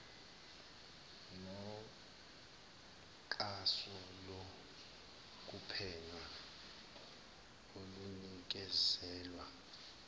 noxhaso lokuphenya olunikezelwa